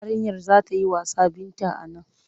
Yarinyar za ta yi wasa Binta a nan.